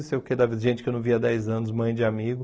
Não sei o quê da vida gente que eu não via há dez anos, mãe de amigo.